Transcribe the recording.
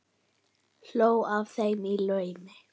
Hló að þeim í laumi.